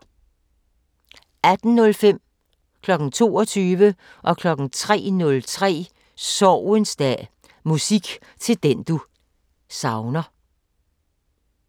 18:05: Sorgens dag: Musik til den du savner 22:00: Sorgens dag: Musik til den du savner 03:03: Sorgens dag: Musik til den du savner